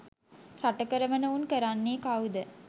රට කරවන උන් කරන්නේ කවුද